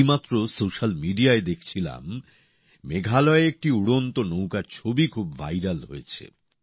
এইমাত্র সোশ্যাল মিডিয়ায় দেখছিলাম মেঘালয়ে একটি উড়ন্ত নৌকার ছবি খুব ভাইরাল হয়েছে